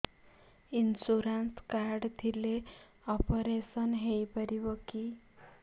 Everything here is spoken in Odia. ଇନ୍ସୁରାନ୍ସ କାର୍ଡ ଥିଲେ ଅପେରସନ ହେଇପାରିବ କି